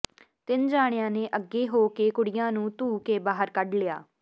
ਤਿੰਨ ਜਾਣਿਆਂ ਨੇ ਅਗੇ ਹੋ ਕਿ ਕੁੜੀਆਂ ਨੂ ਧੂਹ ਕਿ ਬਾਹਰ ਕਢ ਲਿਆ